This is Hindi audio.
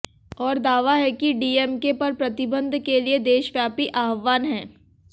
और दावा है कि डीएमके पर प्रतिबंध के लिए देशव्यापी आह्वान है